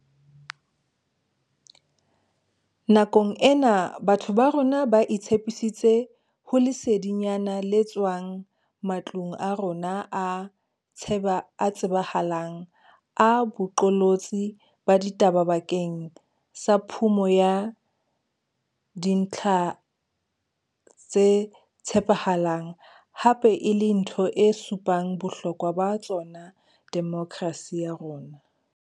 Nakong ena batho ba rona ba itshepisitse ho lesedinyana le tswang ma tlong a rona a tsheba a tsebahalang a boqolotsi ba ditaba bakeng sa phumo ya dintlha tse tshepahalang, hape e le ntho e supang bohlokwa ba tsona demokrasi ya rona.